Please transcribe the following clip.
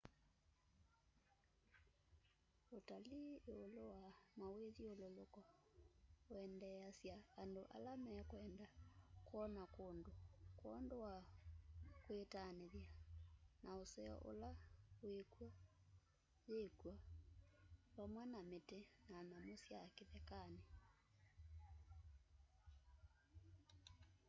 utalii iulu wa mawithyululuko wendeesya andũ ala mekwenda kwona kũndũ kwondũ wa kwitanĩthya na ũseo ũla wĩ kw'o yĩkwo vamwe na mĩtĩ na nyamũ sya kĩthekanĩ